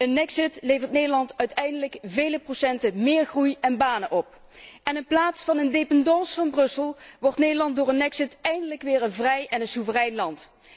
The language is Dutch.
Een exit levert Nederland uiteindelijk vele procenten méér groei en banen op en in plaats van een dependance van Brussel wordt Nederland door een exit eindelijk weer een vrij en een soeverein land.